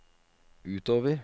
utover